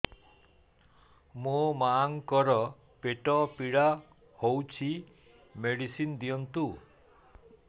ମୋ ମାଆଙ୍କର ପେଟ ପୀଡା ହଉଛି ମେଡିସିନ ଦିଅନ୍ତୁ